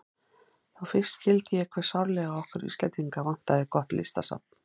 Þá fyrst skildi ég hve sárlega okkur Íslendinga vantar gott listasafn.